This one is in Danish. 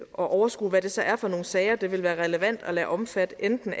at overskue hvad det så er for nogle sager det ville være relevant at lade omfatte af enten